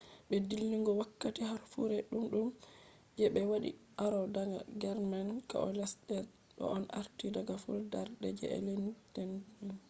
be dilligo wakkati harfure dudum je be wadi aro daga german coalesced. do on arti daga fudarde je enlightenment